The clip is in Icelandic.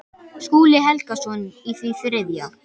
Skúli Helgason í því þriðja.